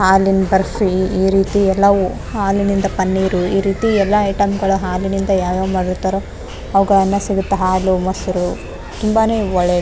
ಹಾಲಿನ್ ಬರ್ಫಿ ಈ ರೀತಿ ಎಲ್ಲ ಓ ಹಾಲಿನಿಂದ ಪನ್ನೀರು ಈ ರೀತಿ ಎಲ್ಲ ಐಟಮ್ ಗಳ ಹಾಲಿನಿಂದ ಯಾವ್ ಯಾವ ಮಾಡಿರ್ತಾರೊ ಅವಗಳೆಲ್ಲ್ ಸಿಗುತ್ತೆ ಹಾಲು ಮೊಸರು ತುಂಬಾನೆ ಒಳ್ಳೇದು .